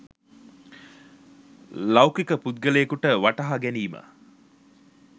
ලෞකික පුද්ගලයෙකුට වටහාගැනීම